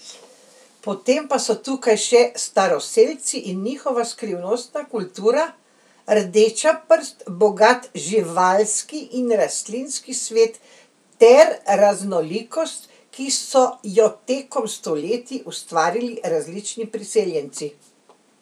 Potem pa so tukaj še staroselci in njihova skrivnostna kultura, rdeča prst, bogat živalski in rastlinski svet ter raznolikost, ki so jo tekom stoletij ustvarili različni priseljenci.